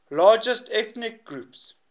largest ethnic groups